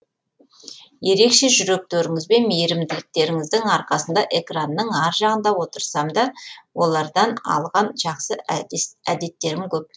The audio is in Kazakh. ерекше жүректеріңізбен мейірімділіктеріңіздің арқасында экранның ар жағында отырсамда олардан алған жақсы әдеттерім көп